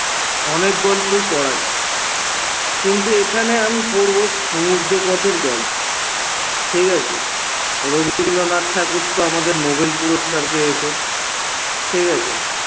অনেক গল্পই পড়া যায় কিন্তু এখানে আমি পড়ব এর গল্প। ঠিকাছে? রবিন্দ্রনাথ ঠাকুর তো আামদের nobel পুরস্কার পেয়েছে ঠিকাছে?